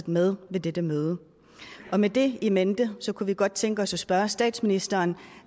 med ved dette møde og med det in mente kunne vi godt tænke os at spørge statsministeren